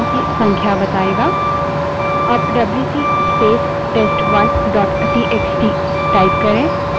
अब WC space test1 dot TXT wc space test1 dot txt type करें